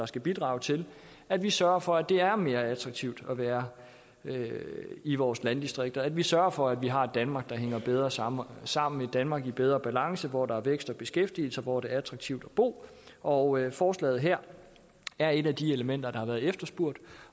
skal bidrage til at vi sørger for at det er mere attraktivt at være i vores landdistrikter at vi sørger for at vi har et danmark der hænger bedre sammen sammen et danmark i bedre balance hvor der er vækst og beskæftigelse og hvor det er attraktivt at bo og forslaget her er et af de elementer der har været efterspurgt